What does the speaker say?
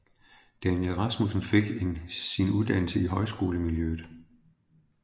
Daniel Rasmussen fik en sin uddannelse i højskolemiljøet